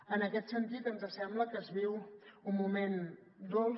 en aquest sentit ens sembla que es viu un moment dolç